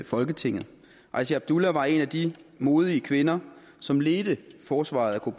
folketinget asya abdullah var en af de modige kvinder som ledte forsvaret af